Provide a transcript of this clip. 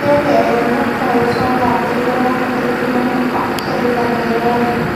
Pele ayaa mar kale u soo laabtay garoonka kadib markii uu ka codsaday taageerayaasha.